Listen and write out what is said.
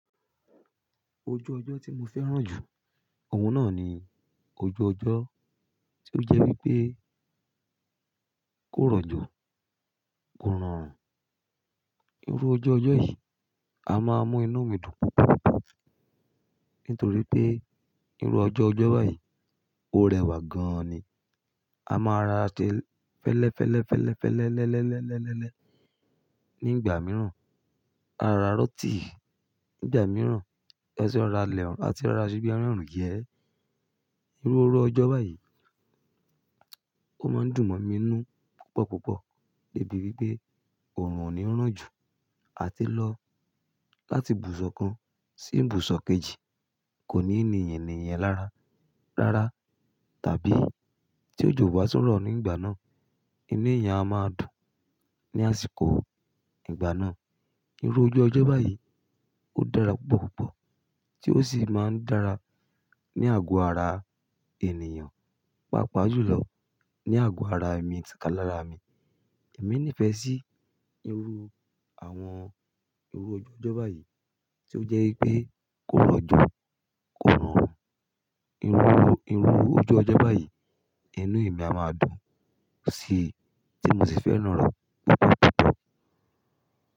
Ojú ọjọ́ tí mo fẹ́ràn jù, òun náà ni ojú ọjọ́ tí ó jẹ́ wípé kò rọ̀jọ́, kò rọrùn. Irú ojú ọjọ́ yìí, a máa mu inú mi dùn púpọ̀púpọ̀. Nítorí pé irú ọjọ́ ọjọ́ báyìí ó rẹwà gan ni. A máa ra ase ẹlẹ́fẹ́lẹ́fẹ́lẹ́fẹ́lẹ́lẹ́lẹ́lẹ́ nígbà mìíràn, a ra rọ́ọ́tì nígbà mìíràn, ẹṣẹ ra ilẹ̀ àti ra rasobí àti ẹran. Irú ọjọ́ báyìí ó máa ń dùn mọ inú púpọ̀púpọ̀ níbi wípé òòrùn ò ní ran jù àti lọ láti ibùsọ̀ kan sí ibùsọ̀ kejì kò ní ènìyàn ènìyàn lára rárá tàbí tí òjò bá túnrọ́ nígbà náà, inú èèyàn a máa dùn ní àsìkò ìgbà náà. Irú ojú ọjọ́ báyìí ó dára púpọ̀púpọ̀ tí ó sì máa ń dára ní àgọ́ ara ènìyàn, pàápàá jùlọ ní àgọ́ ara mi tìkalára mi. Èmi nífẹ̀ẹ́ sí irú àwọn irú ojú ọjọ́ báyìí tí ó jẹ́ wípé kò rọ̀jọ́, kò rọrùn. Irú irú ojú ọjọ́ báyìí inú mi a máa dùn sí i tí mo sì fẹ́ràn rẹ̀ púpọ̀púpọ̀